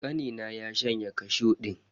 Kanina ya shanye kashu din.